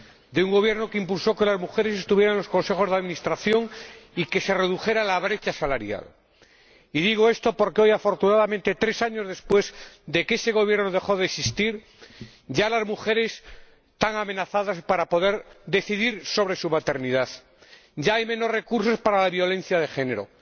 De un gobierno que impulsó que las mujeres estuvieran en los consejos de administración y que se redujera la brecha salarial. Y digo esto porque hoy, afortunadamente tres años después de que ese gobierno dejara de existir, ya las mujeres están amenazadas para poder decidir sobre su maternidad, ya hay menos recursos para la violencia de género,